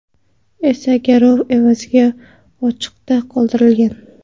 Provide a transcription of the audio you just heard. esa garov evaziga ochiqda qoldirilgan.